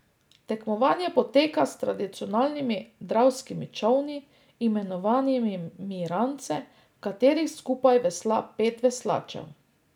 Tekmovanje poteka s tradicionalnimi dravskimi čolni, imenovanimi rance, v katerih skupaj vesla pet veslačev.